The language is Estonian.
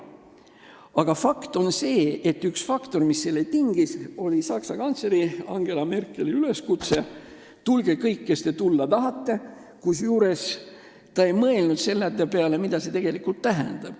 Aga fakt on see, et üks tegur, mis selle tingis, oli Saksa kantsleri Angela Merkeli üleskutse "Tulge kõik, kes te tulla tahate!", kusjuures ta ei mõelnud selle peale, mida see tegelikult tähendab.